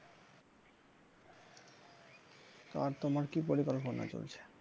আর তোমার কি পরিকল্পনা চলছে?